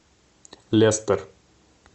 лестер